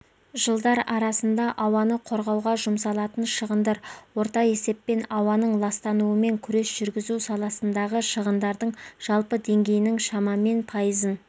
жылдар арасында ауаны қорғауға жұмсалатын шығындар орта есеппен ауаның ластануымен күрес жүргізу саласындағы шығындардың жалпы деңгейінің шамамен пайызын